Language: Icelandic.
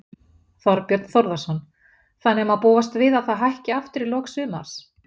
Þorbjörn Þórðarson: Þannig að má búast við að það hækki aftur í lok sumars?